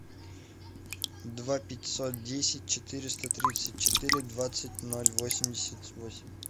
два пятьсот десять четыреста тридцать четыре двадцать ноль восемьдесят восемь